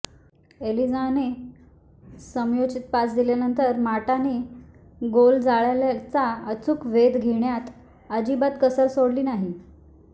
एलिजाहने समयोचित पास दिल्यानंतर माटाने गोलजाळय़ाचा अचूक वेध घेण्यात अजिबात कसर सोडली नाही